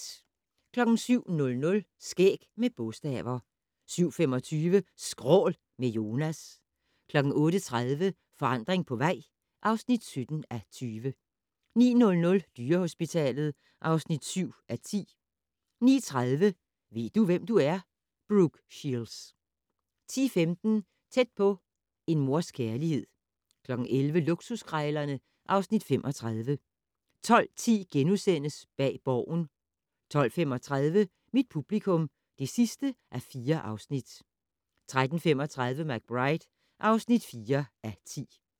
07:00: Skæg med bogstaver 07:25: Skrål - med Jonas 08:30: Forandring på vej (17:20) 09:00: Dyrehospitalet (7:10) 09:30: Ved du, hvem du er? - Brooke Shields 10:15: Tæt på: En mors kærlighed 11:00: Luksuskrejlerne (Afs. 35) 12:10: Bag Borgen * 12:35: Mit publikum (4:4) 13:35: McBride (4:10)